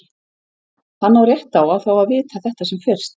Hann á rétt á að fá að vita þetta sem fyrst.